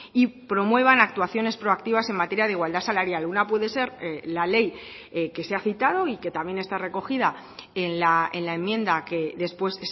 y promuevan actuaciones proactivas en materia de igualdad salarial una puede ser la ley que se ha citado y que también está recogida en la enmienda que después